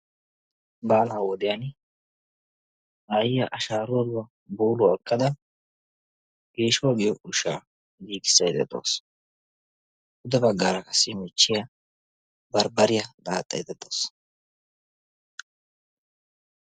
Baalaa wodiyan ayiaa ashaaruwaaduwaa buuluwaa ekkada geeshuwaa giyoo ushshaa giigissaydda dawusu. Xade baggaara qassi michchiyaa barbbariyaa daaxxaydda dawusu.